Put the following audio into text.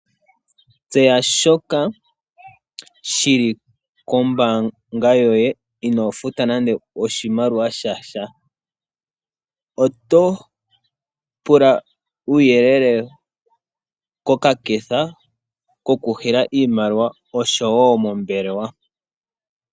Tseya shoka shi li kombaanga yoye inoo futa nande oshimaliwa shasha. Oto pula uuyelele kokaketha koku nana iimaliwa osho wo mombelewa.